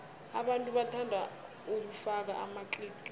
abantu bathanda ukufaka amaqiqi